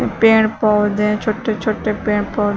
पेड़ पौधे छोटे छोटे पेड़ पौधे--